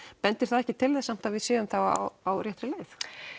bendir það ekki til þess samt að við séum þá á réttri leið